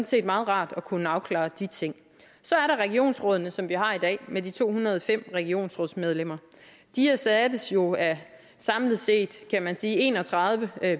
set meget rart at kunne afklare de ting så er der regionsrådene som vi har i dag med de to hundrede og fem regionsrådsmedlemmer de erstattes jo af samlet set kan man sige en og tredive